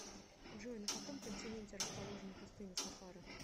джой на каком континенте расположена пустыня сахара